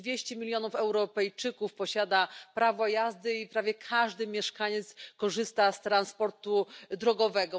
200 milionów Europejczyków posiada prawo jazdy i prawie każdy mieszkaniec korzysta z transportu drogowego.